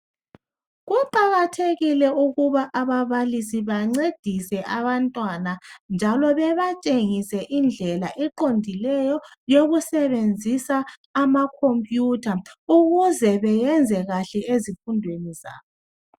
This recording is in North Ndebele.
Kuqakathekile ukuba ababalisi bancedise abantwana njalo bebatshengise indlela eqondileyo yokusebenzisa amacomputer ukuze beyenze kahle ezifundweni zabo.